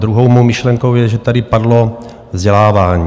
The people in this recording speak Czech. Druhou mou myšlenkou je, že tady padlo vzdělávání.